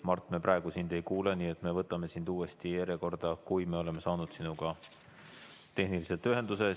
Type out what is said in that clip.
Mart, me praegu sind ei kuule, nii et me võtame sind uuesti järjekorda, kui me oleme saanud sinuga tehniliselt ühenduse.